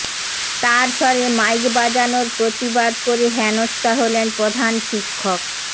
তারস্বরে mic বাজানোর প্রতিবাদ করে হেনস্থা হলেন প্রধান শিক্ষক